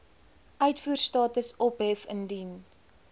uitvoerstatus ophef indien